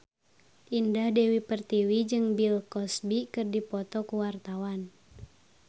Indah Dewi Pertiwi jeung Bill Cosby keur dipoto ku wartawan